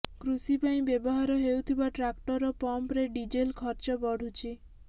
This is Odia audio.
କୃଷି ପାଇଁ ବ୍ୟବହାର ହେଉଥିବା ଟ୍ରାକ୍ଟର ଓ ପମ୍ପରେ ଡିଜେଲ ଖର୍ଚ୍ଚ ବଢ଼ୁଛି